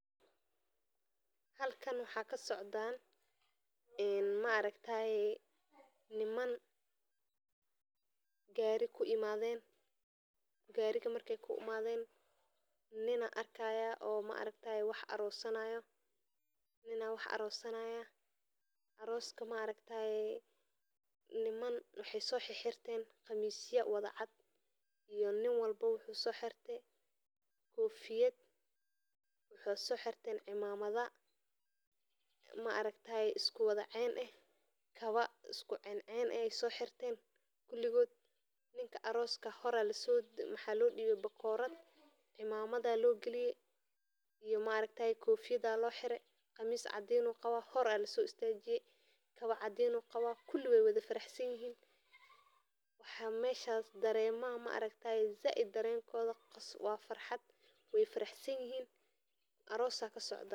Halakan waxa kasocdaan een maaragtaaye niman gari kuimaaden, Gariga markey kuimaden nina arkaya oo maaragtaaye oo wax arosanaayo, nina wax arosanaya, aroska maaragtaaye niman waxey so xirxirteen qamisya wada cad iyo nin walbo wuxu soxirte kofiyad, wuxu so xirteen cimamada maaragtaaye iskuwada cen eh, kawa iskucencen ehey soxirteen kuligood ninka aroska hora lasomariye mxa lodhibe bakorad cimamada logaliye iyo maaragtaaye kofiyada loxire qamis caadin uu qaba hora lasoistajiye, kawa cadiin uu qaba kuli weywada faraxsanyihin waxa meshaas daremaha maaragtaaye zaid dareenkoda wa farxad wey faraxsanyihin aroos aa kasoocda.